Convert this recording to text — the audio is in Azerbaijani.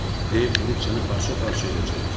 Dev durub səni parça-parça edəcək.